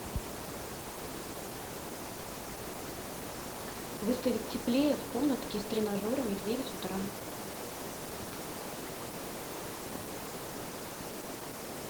выставить теплее в комнатке с тренажерами в девять утра